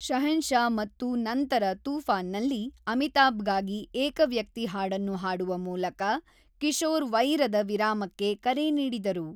ಶಹೆನ್‌ಶಾ ಮತ್ತು ನಂತರ ತೂಫಾನ್‌ನಲ್ಲಿ ಅಮಿತಾಭ್‌ಗಾಗಿ ಏಕವ್ಯಕ್ತಿ ಹಾಡನ್ನು ಹಾಡುವ ಮೂಲಕ ಕಿಶೋರ್ ವೈರದ ವಿರಾಮಕ್ಕೆ ಕರೆ ನೀಡಿದರು.